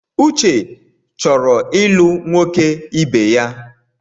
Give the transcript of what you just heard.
Uche chọrọ ịlụ nwoke ibeya.